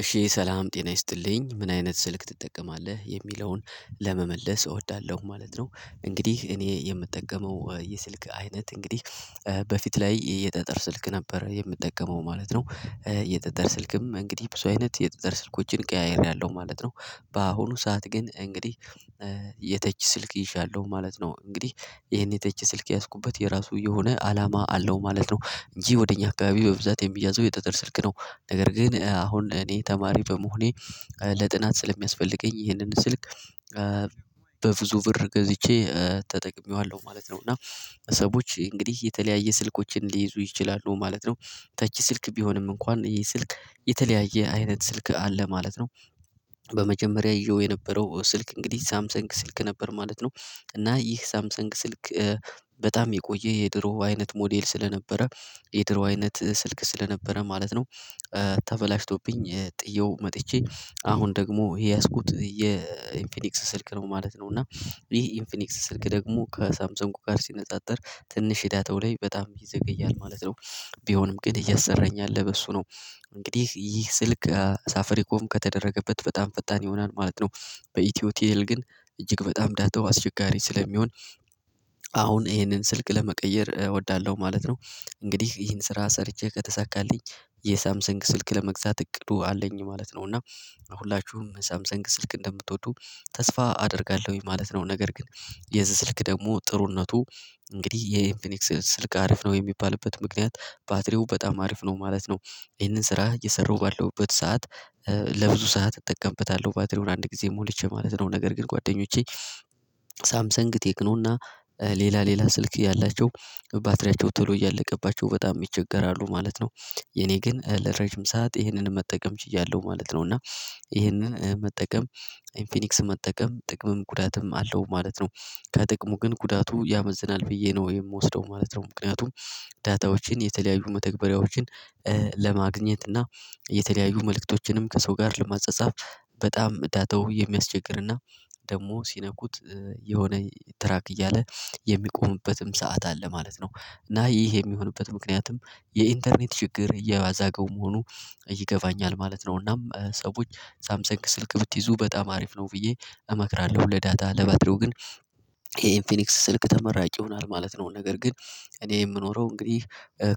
እሺ ሰላም ጤና ይስጥልኝ። ምን አይነት ስልክ ትጠቀማለህ? የሚለውን ለመመለስ እወዳለሁ ማለት ነው። እንግዲህ እኔ የምጠቀመው የስልክ አይነት እንግዲህ በፊት ላይ የጠጠር ስልክ ነበር የምጠቀመው ማለት ነው። የጠጠር ስልክም እንግዲህ ብዙ አይነት የጠጠር ስልኮችን ቀያይሬአለው ማለት ነው። በአሁኑ ሰዓት ግን እንግዲህ የ'ተች' ስልክ ይዣለሁ ማለት ነው። እንግዲህ ይሄን የተች ስልክ የያዝኩበት የራሱ የሆነ አላማ አለው ማለት ነው። እንጂ ወደ እኛ አካባቢ በብዛት የሚያዘው የጠጠር ስልክ ነው። ነገር ግን አሁን እኔ ተማሪ በመሆኔ ለጥናት ስለሚያስፈልገኝ ይህንን ስልክ በብዙ ብር ገዝቼ ተጠቅሜዋለሁ ማለት ነው። እና ሰዎች እንግዲህ የተለያየ ስልኮችን ሊይዙ ይችላሉ ማለት ነው። 'ተች' ስልክ ቢሆንም እንኳን ይሄ ስልክ የተለያየ አይነት ስልክ አለ ማለት ነው። በመጀመሪያ እዤው የነበረው ስልክ እንግዲህ ሳምሰንግ ስልክ ነበር ማለት ነው። እና ይህ ሳምሰንግ ስልክ በጣም የቆየ የድሮ አይነት ሞዴል ስለነበረ የድሮ አይነት ስልክ ስለነበረ ማለት ነው ተበላሽቶብኝ ጥዬው መጥቼ አሁን ደግሞ የያዝኩት የኢንፌኒክስ ስልክ ነው ማለት ነው። እና ይሄ ኢንፊኒክስ ስልክ ደግሞ ከሳምሰንጉ ጋር ሲነጻጸር ትንሽ 'ዳታው' ላይ በጣም ይዘገያል ማለት ነው። ቢሆንም ግን እያሰራኝ ያለ በሱ ነው። እንግዲህ ይህ ስልክ ሳፍሪኮም ከተደረገበት በጣም ፈጣን ይሆናል ማለት ነው። በኢትዮ ቲል ግን እጅግ በጣም ዳታው አስቸጋሪ ስለሚሆን አሁን ይሄንን ስልክ ለመቀየር እወዳለሁ ማለት ነው። እንግዲህ ይህን ስራ ሰርቼ ከተሳካልኝ የሳምሰንግ ስልክ ለመግዛት እቅዱ አለኝ ማለት ነው። እና ሁላችሁም ሳምሰንግ ስልክ እንደምትወዱ ተስፋ አደርጋለሁኝ ማለት ነው። ነገር ግን የዚህ ስልክ ደግሞ ጥሩነቱ እንግዲህ የኢንፊኒክስ ስልክ አርፍ ነው የሚባልበት ምክንያት ባትሪው በጣም አሪፍ ነው ማለት ነው። ይህንን ስራ እየሰራሁ ባለሁበት ሰዓት ለብዙ ሰዓት እጠቀምበታለሁ ባትሪውን አንድ ጊዜ ሞልቼ ማለት ነው። ነገር ግን ጓደኞቼ ሳምሰንግ፣ ቴክኖ እና ሌላ ሌላ ስልክ ያላቸው ባትሪያቸው ቶሎ እያለቀባቸው በጣም ይቸገራሉ ማለት ነው። የኔ ግን ለረጅም ሰዓት ይሄንን መጠቀም ችያለሁ ማለት ነው። እና ይሄንን መጠቀም ኢንፊኒክስ መጠቀም ጥቅምም ጉዳትም አለው ማለት ነው። ከጥቅሙ ግን ጉዳቱ ያመዝናል ብዬ ነው የምወስደው ማለት ነው። ምክንያቱም 'ዳታዎችን' የተለያዩ መተግበሪያዎችን ለማግኘት እና የተለያዩ መልእክቶችንም ከሰው ጋር ለመጻጻፍ በጣም 'ዳታው' የሚያስቸግር እና ደግሞ ሲነኩት የሆነ ትራክ እያለ የሚቆምበትም ሰዓት አለ ማለት ነው። እና ይህ የሚሆንበት ምክንያትም የኢንተርኔት ችግር እያያዛገው መሆኑ ይገባኛል ማለት ነው። እናም ሰዎች ሳምሰንግ ስልክ ብትይዙ በጣም አሪፍ ነው ብዬ እመክራለሁ ለ'ዳታ' ለባድሪው ግን ይሄን ኢንፊኒክስ ስልክ ተመራጭ ይሆናል ማለት ነው። ነገር ግን እኔ የምኖረው እንግዲህ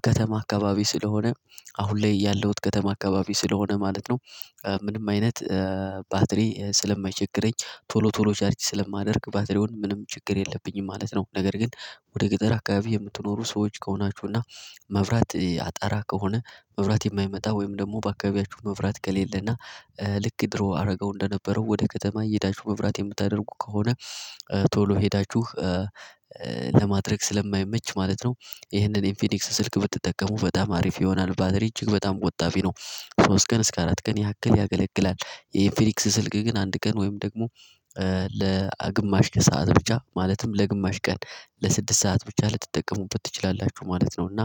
ከተማ አካባቢ ስለሆነ አሁን ላይ ያለሁት ከተማ አካባቢ ስለሆነ ማለት ነው። ምንም አይነት ባትሪ ስለማይቸግረኝ ቶሎ ቶሎ ቻርጅ ስለማደርግ ባትሪውን ምንም ችግር የለብኝም ማለት ነው። ነገር ግን ወደ ገጠር አካባቢ የምትኖሩ ሰዎች ከሆናችሁ እና መብራት አጣራ ከሆነ መብራት የማይመጣ ወይም ደግሞ በአካባቢያችሁ መብራት ከሌለና ልክ ድሮ አደረገው እንደነበረው ወደ ከተማ እየሄዳችው መብራት የምታደርጉ ከሆነ ቶሎ ሄዳችሁ ለማድረግ ስለማይመች ማለት ነው ይህንን ኢንፊኒክስ ስልክ ብትጠቀሙ በጣም አሪፍ ይሆናል። ባትሪ እጅግ በጣም በጣም ነው ሶስት ቀን እስከ አራት ቀን ያክል ያገለግላል። የኢንፊኒክስ ስልክ ግን አንድ ቀን ወይም ደግሞ ለግማሽ ከሰአት ብቻ ማለትም ለግማሽ ቀን ለስድስት ሰዓት ብቻ ልትጠቀሙበት ትችላላችሁ ማለት ነው። እና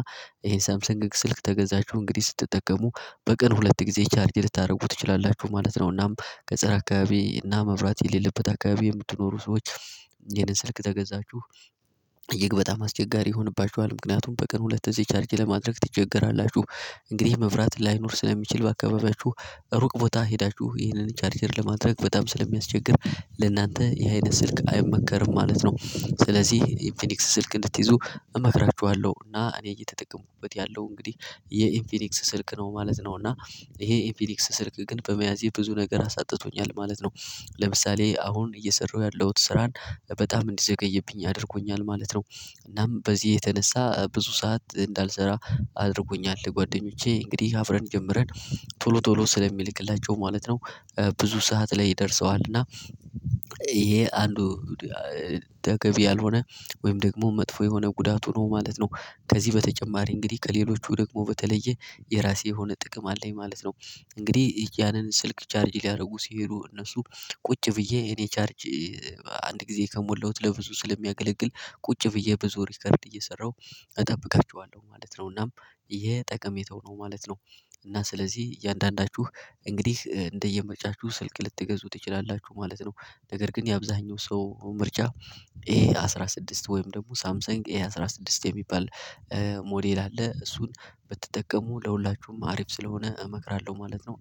ይሄን ሳምሰንግ ስልክ ተገዛችሁ እንግዲህ ስትጠቀሙ በቀን ሁለት ጊዜ ቻርጅ ልታደርጉ ትችላላችሁ ማለት ነው። እናም ገጠር አካባቢ እና መብራት የሌለበት አካባቢ የምትኖሩ ሰዎች ይሄንን ስልክ ተገዛችሁ እጅግ በጣም አስቸጋሪ ይሆንባችኋል። ምክንያቱም በቀን ሁለት ጊዜ ቻርጅ ለማድረግ ትቸገራላችሁ። እንግዲህ መብራት ላይኖር ስለሚችል በአካባቢያችሁ ሩቅ ቦታ ሄዳችሁ ይህንን ቻርጀር ለማድረግ በጣም ስለሚያስቸግር ለእናንተ ይሄ አይነት ስልክ አይመከርም ማለት ነው። ስለዚህ የኢንፊኒክስ ስልክ እንድትይዙ እመክራችኋለሁ እና እኔ እየተጠቀምኩበት ያለው እንግዲህ የኢንፌኒክስ ስልክ ነው ማለት ነው። እና ይሄ ኢንፌኒክስ ስልክ ግን በመያዜ ብዙ ነገር አሳጥቶኛል ማለት ነው። ለምሳሌ አሁን እየሰራሁ ያለሁት ስራን በጣም እንዲዘገይብኝ አድርጎኛል ማለት ነው። እናም በዚህ የተነሳ ብዙ ሰዓት እንዳልሰራ አድርጎኛል ጓደኞቼ እንግዲህ አብረን ጀምረን ቶሎ ቶሎ ስለሚልክላቸው ማለት ነው ብዙ ሰዓት ላይ ደርሰዋል። እና ይሄ አንዱ ያልሆነ ወይም ደግሞ መጥፎ የሆነ ጉዳቱ ነው ማለት ነው። ከዚህ በተጨማሪ እንግዲህ ከሌሎቹ ደግሞ በተለየ የራሴ የሆነ ጥቅም አለኝ ማለት ነው። እንግዲህ ያንን ስልክ ቻርጅ ሊያደርጉ ሲሄዱ እነሱ ቁጭ ብዬ እኔ ቻርጅ አንድ ጊዜ ከሞላሁት ለብዙ ስለሚያገለግል ቁጭ ብዬ በዙ ሪከርድ እየሰራሁ እጠብቃቸዋለሁ ማለት ነው። እናም ይሄ ጠቀሜተው ነው ማለት ነው። እና ስለዚህ እያንዳንዳችሁ እንግዲህ እንደየምርጫችሁ ስልክ ልትገዙ ትችላላችሁ ማለት ነው። ነገር ግን የአብዛኛው ሰው ምርጫ ኤ አስራ ስድስት ወይም ደግሞ ሳምሰንግ ኤ አስራ ስድስት የሚባል ሞዴል አለ እሱን ብትጠቀሙ ለሁላችሁም አሪፍ ስለሆነ እመክራለሁ ማለት ነው።